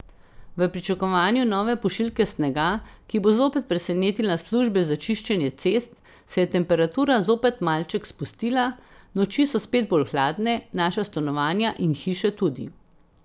V pričakovanju nove pošiljke snega, ki bo zopet presenetila službe za čiščenje cest, se je temperatura zopet malček spustila, noči so spet bolj hladne, naša stanovanja in hiše tudi.